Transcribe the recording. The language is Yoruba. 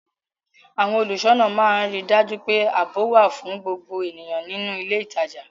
Àwọn olùṣọ́nà máa ń rí dájú pé ààbò wà fún gbogbo ènìyàn nínú ilé ìtajà